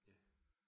Ja